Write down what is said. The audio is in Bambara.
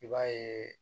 I b'a yeee